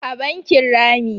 a bakin Rami